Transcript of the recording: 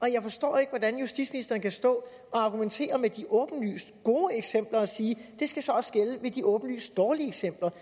jeg forstår ikke hvordan justitsministeren kan stå og argumentere med de åbenlyst gode eksempler og sige det skal så også gælde ved de åbenlyst dårlige eksempler